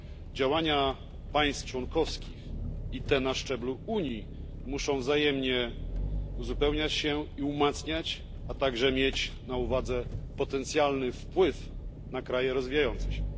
Działania państw członkowskich i te na szczeblu Unii muszą wzajemnie uzupełniać się i wzmacniać, a także mieć na uwadze potencjalny wpływ na kraje rozwijające się.